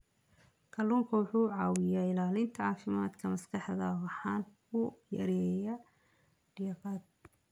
Kalluunku waxa uu caawiyaa ilaalinta caafimaadka maskaxda waxana uu yareeyaa diiqada.